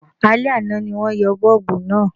Alẹ́ àná ni wọ́n yọ bọ́ọ̀bù náà